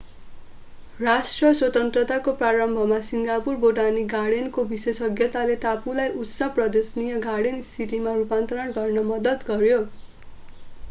राष्ट्र स्वतन्त्रताको प्रारम्भमा सिङ्गापुर बोटानिक गार्डेनको विशेषज्ञताले टापुलाई उष्ण प्रदेशीय गार्डेन सिटीमा रूपान्तरण गर्न मद्दत गर्‍यो।